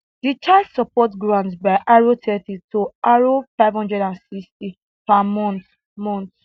di child support grant by r thirty to r five hundred and sixty per month monhth